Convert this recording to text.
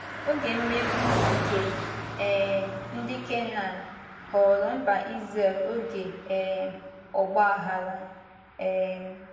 Oge mmegbu nke um ndị Kenan ghọọrọ mba Izrel oge um ọgba aghara. um